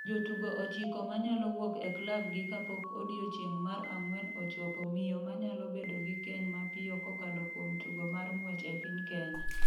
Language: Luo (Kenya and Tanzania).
Jotugo ochiko ma nyalo wuok e klabgi kapok odiechieng’ mar ang’wen ochopo Miyo ma nyalo bedo gi keny mapiyo kokalo kuom tugo mar ng’wech e piny Kenya.